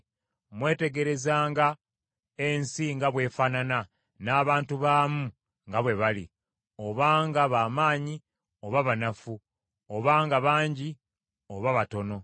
Mwetegerezenga ensi nga bw’efaanana, n’abantu baamu nga bwe bali, obanga ba maanyi oba banafu, obanga bangi oba batono.